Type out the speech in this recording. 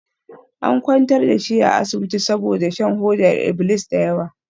An kwantar da shi a asibiti saboda shan hodar iblis da yawa.